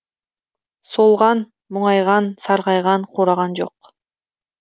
солған мұңайған сарғайған қураған жоқ